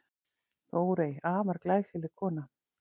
Þórey, afar glæsileg kona.